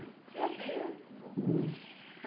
É mesmo?